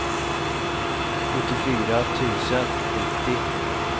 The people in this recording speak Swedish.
sjuttiofyra tusen nittio